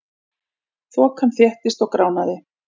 Þokan þéttist og gránaði.